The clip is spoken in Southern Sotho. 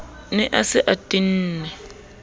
ne a se a tenne